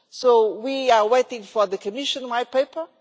So we are waiting for the Commission White Paper.